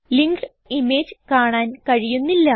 linked image കാണാൻ കഴിയുന്നില്ല